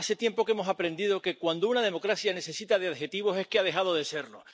Hace tiempo que hemos aprendido que cuando una democracia necesita de adjetivos es que ha dejado de serlo.